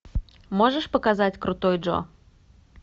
можешь показать крутой джо